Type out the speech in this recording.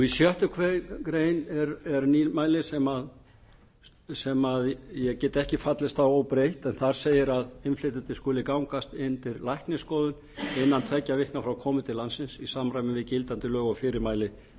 í sjöttu grein er nýmæli sem ég get ekki fallist á óbreytt en þar segir að innflytjendur skuli gangast undir læknisskoðun innan tveggja vikna frá komu til landsins í samræmi við gildandi lög og fyrirmæli